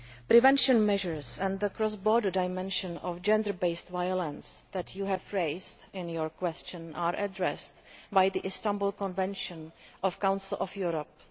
Prevention measures and the cross border dimension of gender based violence that you have raised in your question are addressed by the Istanbul Convention of the Council of Europe.